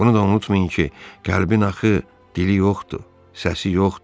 Bunu da unutmayın ki, qəlbin axı dili yoxdur, səsi yoxdur.